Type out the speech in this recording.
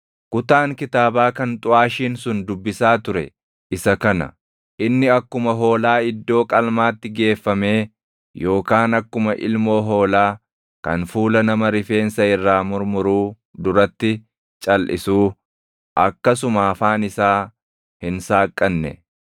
Kutaan kitaabaa kan xuʼaashiin sun dubbisaa ture isa kana: “Inni akkuma hoolaa iddoo qalmaatti geeffamee, yookaan akkuma ilmoo hoolaa kan fuula nama rifeensa irraa murmuruu duratti calʼisuu akkasuma afaan isaa hin saaqqanne.